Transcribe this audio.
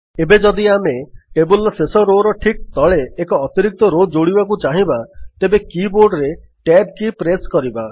ଏବେ ଯଦି ଆମେ ଟେବଲ୍ ର ଶେଷ Rowର ଠିକ୍ ତଳେ ଏକ ଅତିରିକ୍ତ ରୋ ଯୋଡ଼ିବାକୁ ଚାହିଁବା ତେବେ କୀ ବୋର୍ଡରେ Tab କୀ ପ୍ରେସ୍ କରିବା